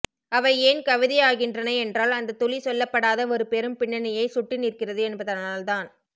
அவை ஏன் கவிதையாகின்றன என்றால் அந்த துளி சொல்லப்படாத ஒரு பெரும் பின்னணியைச் சுட்டிநிற்கிறது என்பதனால்தான்